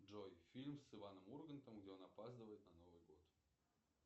джой фильм с иваном ургантом где он опаздывает на новый год